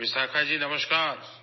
Vishakha ji, نمسکار